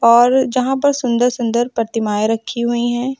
और जहां पर सुंदर सुंदर प्रतिमाएं रखी हुई हैं।